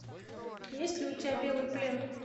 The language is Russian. есть ли у тебя белый плен